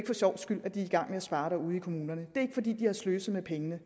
for sjovs skyld at de er i gang med at spare ude i kommunerne det er ikke fordi de har sløset med pengene